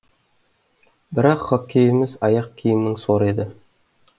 бірақ хоккейіміз аяқ киімнің соры еді